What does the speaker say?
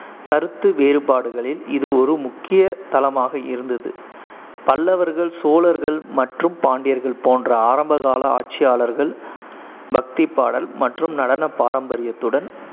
கருத்து வேறுபாடுகளில் இது ஒரு முக்கிய தளமாக இருந்தது பல்லவர்கள், சோழர்கள் மற்றும் பாண்டியர்கள் போன்ற ஆரம்பகால ஆட்சியாளர்கள் பக்தி பாடல் மற்றும் நடன பாரம்பரியத்துடன்